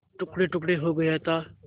टुकड़ेटुकड़े हो गया था